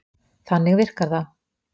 Þannig virkar það.